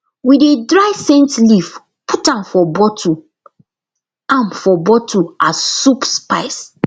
we dey dry scent leaf put am for bottle am for bottle as soup spice